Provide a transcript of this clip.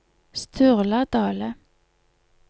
Sturla Dahle